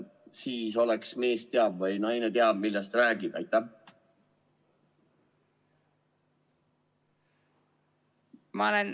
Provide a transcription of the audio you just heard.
Siis oleks nii, et mees teab või naine teab, millest ta räägib?